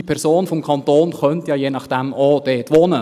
Diese Person des Kantons könnte je nachdem ja auch dort wohnen.